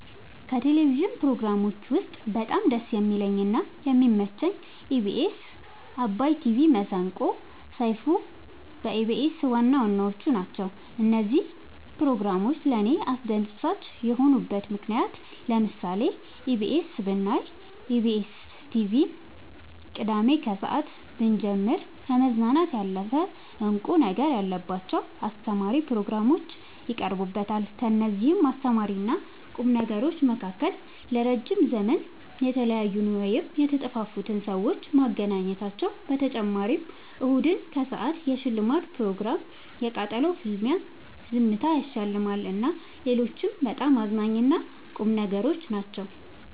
ከቴሌቭዥን ፕሮግራሞች ውስጥ በጣም ደስ የሚለኝ እና የሚመቸኝ ኢቢኤስ አባይ ቲቪ መሰንቆ ሰይፋን በኢቢኤስ ዋናዋናዎቹ ናቸው። እነዚህ ፕሮግራሞች ለእኔ አስደሳች የሆኑበት ምክንያት ለምሳሌ ኢቢኤስ ብናይ ኢቢኤስን ቲቪ ቅዳሜ ከሰአት ብንጀምር ከመዝናናት ያለፈ እንቁ ነገር ያለባቸው አስተማሪ ፕሮግራሞች ይቀርቡበታል ከእነዚህም አስተማሪና ቁም ነገሮች መካከል ለረዥም ዘመን የተለያዩን ወይም የተጠፋፉትን ሰዎች ማገናኘታቸው በተጨማሪም እሁድን ከሰአት የሽልማት ፕሮግራም የቃጠሎ ፍልሚያ ዝምታ ያሸልማል እና ሌሎችም በጣም አዝናኝ እና ቁም ነገሮች ናቸው።